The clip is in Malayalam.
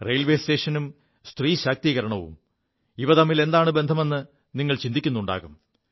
റെയിൽവേ സ്റ്റേഷനും സ്ത്രീ ശാക്തീകരണവും ഇവ തമ്മിൽ എന്താണു ബന്ധമെ് നിങ്ങൾ ചിന്തിക്കുുണ്ടാകും